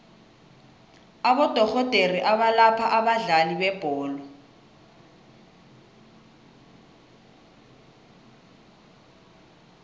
abodorhodere abalapha abadlali bebholo